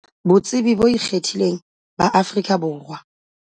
BOTSEBI BO IKGETHILENG BA AFRIKA BORWA.